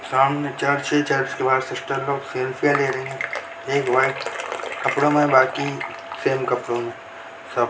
सामने चर्च है चर्च के बहार मिस्टर लोग सेल्फिया ले रही है एक व्हाइट कपड़ो मे है बाकी सेम कपड़ो में है।